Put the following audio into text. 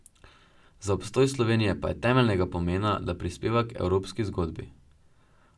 Za obstoj Slovenije pa je temeljnega pomena, da prispeva k evropski zgodbi.